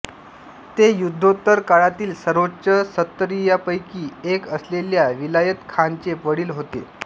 ते युद्धोत्तर काळातील सर्वोच्च सत्तरीयांपैकी एक असलेल्या विलायत खानचे वडील होते